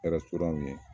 Kɛra surunya min ye